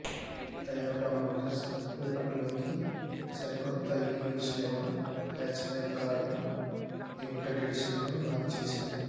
Toyota Motors విపణిలోకి సరికొత్త Etios Liva hatchback కారును లిమిటెడ్ ఎడిషన్లో లాంచ్ చేసింది